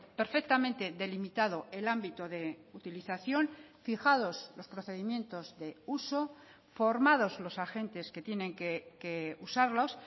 perfectamente delimitado el ámbito de utilización fijados los procedimientos de uso formados los agentes que tienen que usarlos